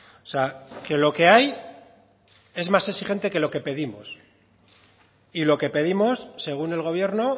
o sea que lo que hay es más exigente que lo que pedimos y lo que pedimos según el gobierno